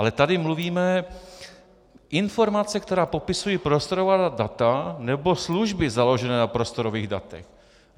Ale tady mluvíme - informace, které popisují prostorová data nebo služby založené na prostorových datech.